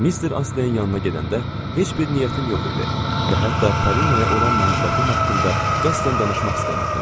Mister Astley-in yanına gedəndə heç bir niyyətim yox idi və hətta Polinaya olan məhəbbətim haqqında qəsdən danışmaq istəmirdim.